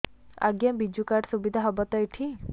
ଆଜ୍ଞା ବିଜୁ କାର୍ଡ ସୁବିଧା ହବ ତ ଏଠି